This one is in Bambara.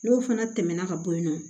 N'o fana tɛmɛna ka bɔ yen nɔ